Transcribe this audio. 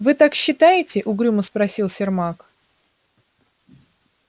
вы так считаете угрюмо спросил сермак